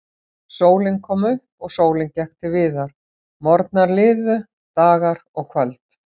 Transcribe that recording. Sólin kom upp og sólin gekk til viðar, morgnar liðu, dagar og kvöld.